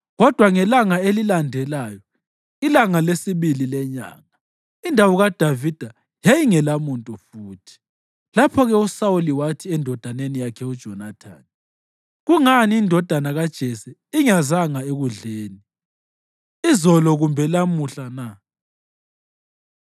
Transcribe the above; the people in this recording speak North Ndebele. Kodwa ngelanga elilandelayo, ilanga lesibili lenyanga, indawo kaDavida yayingelamuntu futhi. Lapho-ke uSawuli wathi endodaneni yakhe uJonathani, “Kungani indodana kaJese ingezanga ekudleni, izolo kumbe lamuhla na?”